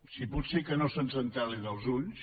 si pot ser que no se’ns entelin els ulls